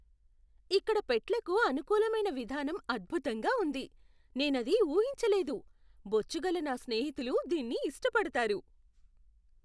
ఇక్కడ పెట్లకు అనుకూలమైన విధానం అద్భుతంగా ఉంది, నేనది ఊహించలేదు. బొచ్చుగల నా స్నేహితులు దీన్ని ఇష్టపడతారు!